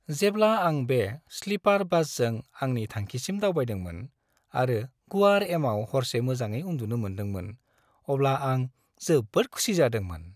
जेब्ला आं बे स्लिपार बासजों आंनि थांखिसिम दावबायदोंमोन आरो गुवार एमाव हरसे मोजाङै उन्दुनो मोनदोंमोन, अब्ला आं जोबोद खुसि जादोंमोन।